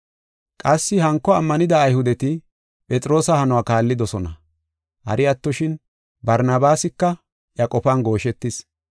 Qassi hanko ammanida Ayhudeti Phexroosa hanuwa kaallidosona. Hari attoshin, Barnabaasika iya qofan gooshetis.